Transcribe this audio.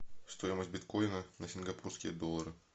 стоимость биткоина на сингапурские доллары